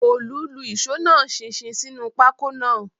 Òòlù lu ìṣó náà ṣinṣin sínú pákó náà